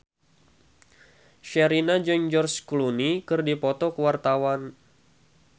Sherina jeung George Clooney keur dipoto ku wartawan